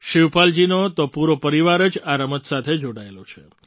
શિવપાલજીનો તો પૂરો પરિવાર જ આ રમત સાથે જોડાયેલો છે